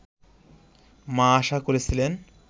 মা আশা করেছিলেন